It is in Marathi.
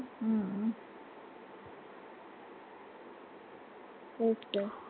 okay